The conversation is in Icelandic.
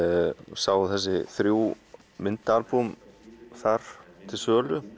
sá þessi þrjú myndaalbúm þar til sölu